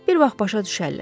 Bir vaxt başa düşərlər.